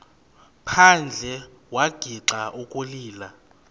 phandle wagixa ukulila